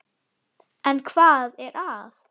En hvað er að?